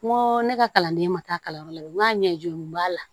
N ko ne ka kalanden ma taa kalanyɔrɔ la n k'a ɲɛjɔn b'a la